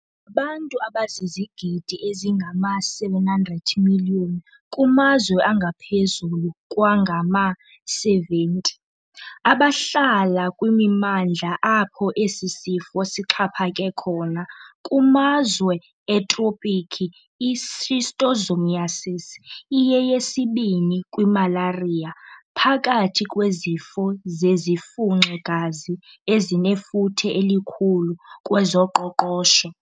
Ngabantu abazizigidi ezingama-700 million, kumazwe angaphezulu kwangama-70, abahlala kwimimandla apho esi sifo sixhaphake khona. Kumazwe etropiki, i-schistosomiasis iyeyesibini kwimalariya phakathi kwezifo zezifunxi-gazi ezinefuthe elikhulu kwezoqoqosho.